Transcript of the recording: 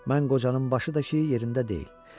Mən qocanın başı da ki, yerində deyil.